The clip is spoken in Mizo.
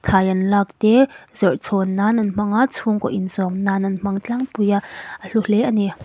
thlai an lak te zawrh chhawn nan an hmang a chhungkaw inchawm nan an hmang tlang pui a a hlu hle a ni.